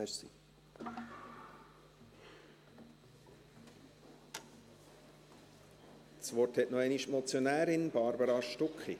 Das Wort hat noch einmal die Motionärin, Barbara Stucki.